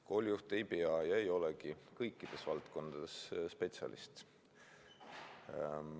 Koolijuht ei pea ja ei olegi kõikides valdkondades spetsialist.